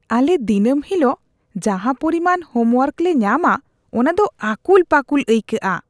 ᱟᱞᱮ ᱫᱤᱱᱟᱹᱢ ᱦᱤᱞᱳᱜ ᱡᱟᱦᱟᱸ ᱯᱚᱨᱤᱢᱟᱱ ᱦᱳᱢᱣᱳᱨᱠ ᱞᱮ ᱧᱟᱢᱟ ᱚᱱᱟ ᱫᱚ ᱟᱹᱠᱩᱞ ᱯᱟᱹᱠᱩᱞ ᱟᱹᱭᱠᱟᱜᱼᱟ ᱾